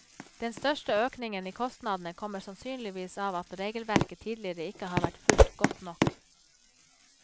Den største økningen i kostnadene kommer sannsynligvis av at regelverket tidligere ikke har vært fulgt godt nok.